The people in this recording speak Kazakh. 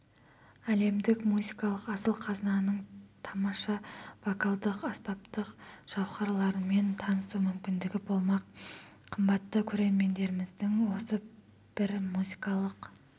әлемдік музыкалық асыл қазынаның тамаша вокалдық-аспаптық жауһарларымен танысу мүмкіндігі болмақ қымбатты көрерменіміздің осы бір музыкалық